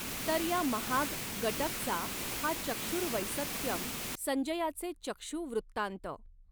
तर या महाग गटगचा हा चक्षुर्वैसत्यम संजयाचे चक्षू वृत्तांत.